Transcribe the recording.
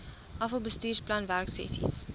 afal bestuursplan werksessies